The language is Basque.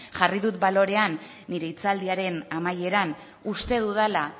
jarri dut balorean nire hitzaldiaren amaieran uste dudala